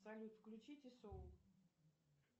салют включите соул